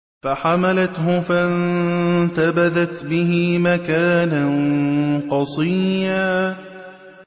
۞ فَحَمَلَتْهُ فَانتَبَذَتْ بِهِ مَكَانًا قَصِيًّا